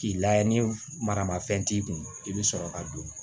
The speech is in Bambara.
K'i layɛ ni maramafɛn t'i kun i bɛ sɔrɔ ka don